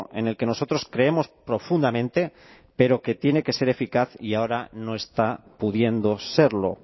en el que nosotros creemos profundamente pero que tiene que ser eficaz y ahora no está pudiendo serlo